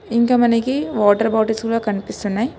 ఇంకా మనకి water bottles కూడ కనిపిస్తున్నాయి.